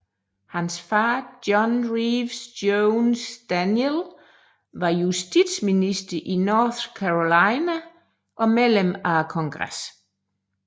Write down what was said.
Hans far John Reeves Jones Daniel var justitsminister i North Carolina og medlem af Kongressen